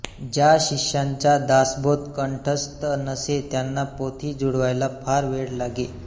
ज्या शिष्यांचा दासबोध कंठस्थ नसे त्यांना पोथी जुळवायला फार वेळ लागे